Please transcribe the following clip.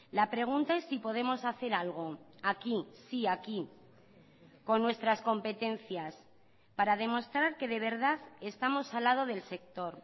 la pregunta es si podemos hacer algo aquí sí aquí con nuestras competencias para demostrar que de verdad estamos al lado del sector